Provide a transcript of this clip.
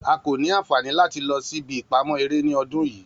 A ko ni anfani lati lọ si ibi ipamọ ere ni ọdun yii